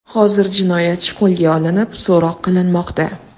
Hozir jinoyatchi qo‘lga olinib, so‘roq qilinmoqda.